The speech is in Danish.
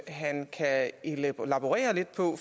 han kan elaborere lidt på